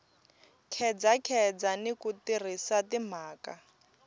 khedzakheza ni ku tirhisa timhaka